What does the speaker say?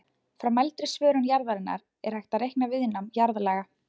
Frá mældri svörun jarðarinnar er hægt að reikna viðnám jarðlaga.